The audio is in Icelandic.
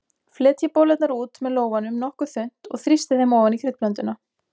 Fletjið bollurnar út með lófanum nokkuð þunnt og þrýstið þeim ofan í kryddblönduna.